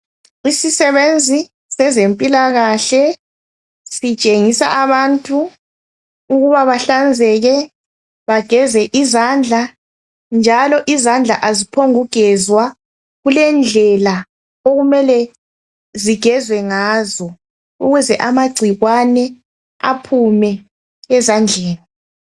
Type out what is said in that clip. Isisebenzi sezempilakahle, sitshengisa abantu ukuba bahlanzeke Bageze izandla, njalo, izandla, kaziphongugezwa. Kulendlela okumele zigezwe ngazo. Ukuze amagcikwane aphume ezandleni.